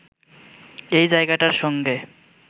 এই জায়গাটার সঙ্গে